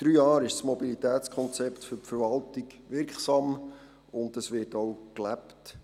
Das Mobilitätskonzept für die Verwaltung ist seit drei Jahren wirksam, und es wird auch gelebt.